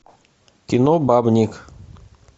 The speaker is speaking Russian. кино бабник